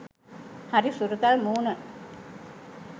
හරි හුරතල් මූණ